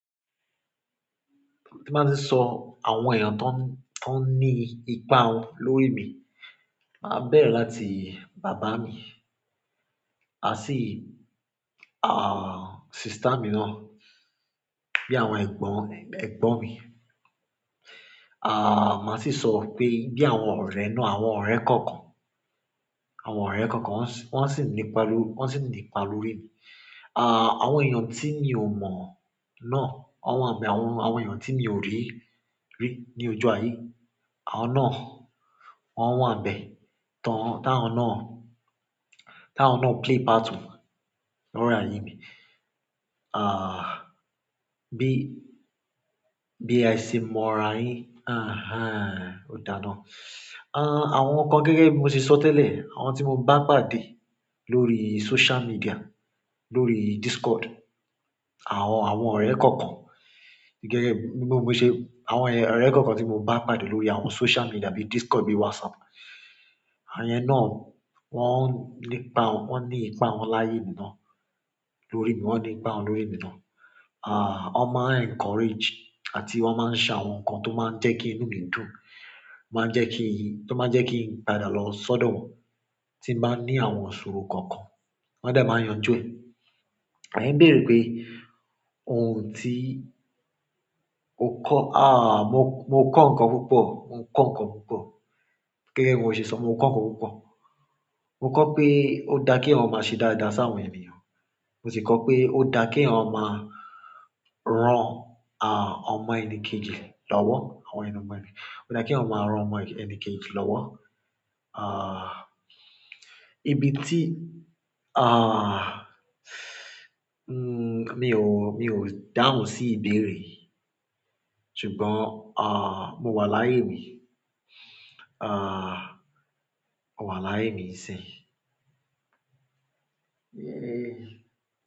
Ti máa tíì sọ àwọn èèyàn tó, tó ní ipa wọn lórí mi, màá bẹ̀rẹ̀ láti bàbá mi, àti, ah, sister mi náà, bí àwọn ẹ̀gbọ́n, ẹ̀gbọ́n mi. Màá sì sọ pé bí àwọn ọ̀rẹ́ náà, àwọn ọ̀rẹ́ kọ̀ọ̀kan, àwọn ọ̀rẹ́ kọ̀ọ̀kan wọ́n sì ní ipa lórí, wọ́n sì ní ipa lórí mi. Àwọn èèyàn tí mi ò mọ̀ náà, wọ́n wà níbẹ̀. Àwọn èèyàn tí mi ò rí, rí ní ojú ayé, àwọn náà wọ́n wà níbẹ̀. Tọ́, tá ń ná, tá ń ná play part lórí ayé mi. Bí a ṣe mọ̀ra yin. Ó dá ba un àwọn nǹkan gẹ́gẹ́ bí mo ṣe sọ tẹ́lẹ̀, àwọn tí mo bá pàdé lórí social media, lórí Discord, àwọn, àwọn ọ̀rẹ́ kọ̀ọ̀kan gẹ́gẹ́ bí mo ṣe, àwọn ọ̀rẹ́ kọ̀ọ̀kan tí mo bá pàdé lórí àwọn social media bí Discord, bí WhatsApp, àwọn yẹn náà wọ́n ní ipa, wọ́n ní ipa wọn láyé mi náà. Lórí mi, wọ́n ní ipa wọn lórí mi náà. Wọ́n máa encourage àti wọ́n máa ń se àwọn nǹkan tó máa ń jẹ́ kí inú mi dùn, máa ń jẹ́ kí, tó máa ń jẹ́ kí n padà lọ sọ́dọ̀ wọn tí ì bá ní àwọn ìṣòro kankan. Wọ́n á dàá màá yanjú ni. Ẹ̀yin béèrè pé ohun tí ó kọ́. Mo kọ́ nǹkan púpọ̀, mo ń kọ́ nǹkan púpọ̀. Gẹ́gẹ́ bí mo ṣe sọ, mo ń kọ́ nǹkan púpọ̀. Mo kọ́ pé ó dáa kí èèyàn ó máa ṣe dáadáa sí àwọn ènìyàn. Mo sì kọ́ pé ó dáa kí èèyàn ó máa ràn, ọmọ ẹnìkejì lọ́wọ́, àwọn Ó dáa kí èèyàn ó máa ràn ọmọ ẹnìkejì lọ́wọ́. Bi tí, mi ò, mi ò dáhùn sí ìbéèrè. Ṣùgbọ́n, ah, mo wà láyé mi. Mo wà láyé mi iṣẹ́.